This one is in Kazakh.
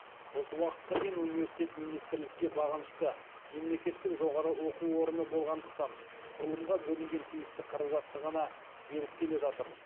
осы уақытқа дейін университет министрлікке бағынышты мемлекеттік жоғары оқу орны болғандықтан құрылымға бөлінген тиісті қаражатты ғана беріп келе жатыр